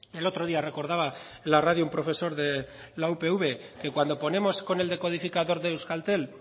el otro día recordaba en la radio un profesor de la upv que cuando ponemos con el decodificador de euskaltel